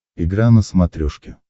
игра на смотрешке